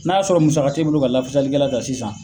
N'a sɔrɔ musaka t'e bolo ka lafasali kɛla ta ka sisan